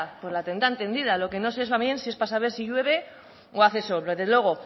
pues la tendrán tendida lo que no sé también si es para saber si llueve o hace sol pero desde luego